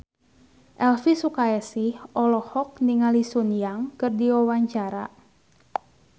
Elvi Sukaesih olohok ningali Sun Yang keur diwawancara